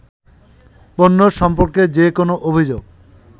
পণ্য সম্পর্কে যে কোনো অভিযোগ